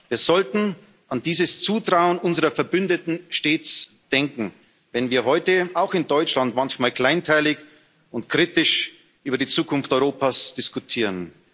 Wir sollten an dieses Zutrauen unserer Verbündeten stets denken, wenn wir heute auch in Deutschland manchmal kleinteilig und kritisch über die Zukunft Europas diskutieren.